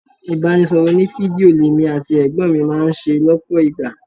Ibanisoro òní-fídíò l'èmi àti ẹ̀gbọ́n mi máa ń ṣe lọpọ ìgbà.